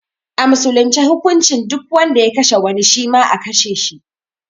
A musulunce hukuncin duk wanda ya kashe wani, shima a kashe shi.